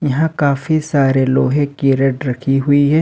यहां काफी सारे लोहे की रेड रखी हुई है।